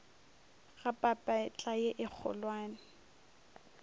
ga papetla ye e kgolwane